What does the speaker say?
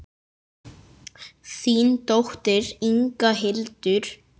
Þín dóttir, Inga Hildur.